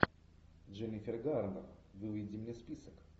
дженнифер гарнер выведи мне список